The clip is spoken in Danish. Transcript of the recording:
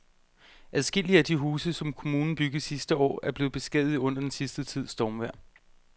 Adskillige af de huse, som kommunen byggede sidste år, er blevet beskadiget under den sidste tids stormvejr.